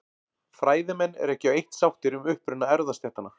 Fræðimenn eru ekki á eitt sáttir um uppruna erfðastéttanna.